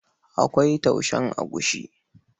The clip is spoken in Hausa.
Akwai taushen agushi.